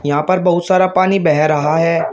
यहां पर बहुत सारा पानी बह रहा है।